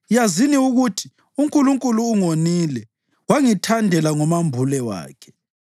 yazini ukuthi uNkulunkulu ungonile wangithandela ngomambule wakhe.